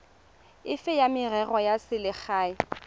efe ya merero ya selegae